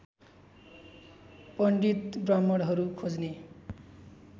पण्डित ब्राह्मणहरू खोज्ने